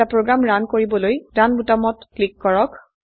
এটা programme run কৰিবলৈ run বোতামত টিপক